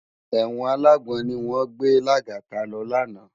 Èwòn àlágbòn niwòn gbé Lagata lò lòlá